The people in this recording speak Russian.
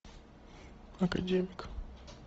академик